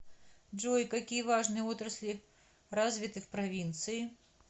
джой какие важные отрасли развиты в провинции